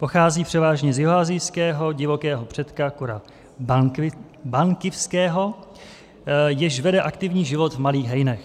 Pochází převážně z jihoasijského divokého předka kura bankivského, jenž vede aktivní život v malých hejnech.